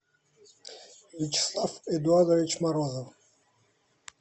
вячеслав эдуардович морозов